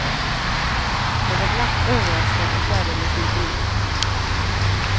Jag var glatt överraskad och särdeles imponerad.